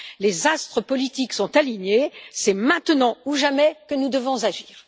Les astres politiques sont alignés, c'est maintenant ou jamais que nous devons agir.